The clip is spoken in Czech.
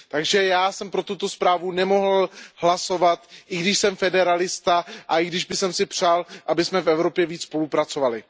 Takže já jsem pro tuto zprávu nemohl hlasovat, i když jsem federalista a i když bych si přál, abychom v Evropě více spolupracovali.